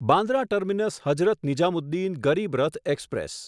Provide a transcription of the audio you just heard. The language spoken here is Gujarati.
Bandra terminus Hazrat Nizamuddin Garib Rath express